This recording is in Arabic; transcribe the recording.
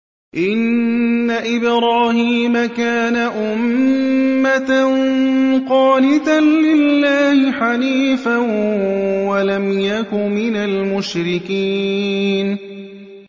إِنَّ إِبْرَاهِيمَ كَانَ أُمَّةً قَانِتًا لِّلَّهِ حَنِيفًا وَلَمْ يَكُ مِنَ الْمُشْرِكِينَ